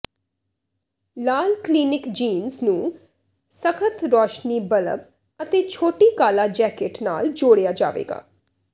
ਲਾਲ clinic jeans ਨੂੰ ਸਖਤ ਰੌਸ਼ਨੀ ਬੱਲਬ ਅਤੇ ਛੋਟੀ ਕਾਲਾ ਜੈਕੇਟ ਨਾਲ ਜੋੜਿਆ ਜਾਵੇਗਾ